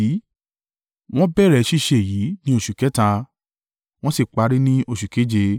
Wọ́n bẹ̀rẹ̀ ṣíṣe èyí ní oṣù kẹta, wọ́n sì parí ní oṣù keje.